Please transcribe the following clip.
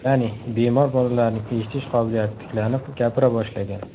Ya’ni, bemor bolalarning eshitish qobiliyati tiklanib, gapira boshlagan.